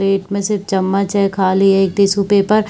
plate में सिर्फ चम्मच है खाली ये एक टिश्यू पेपर --